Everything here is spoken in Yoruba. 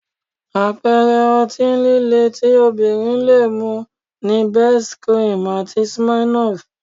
Àpẹẹrẹ ọtí líle tí obìnrin lè mu ni Best cream àti Smirnoff